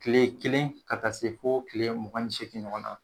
Kile kelen ka taa se fo kile mugan ni seegi ɲɔgɔn na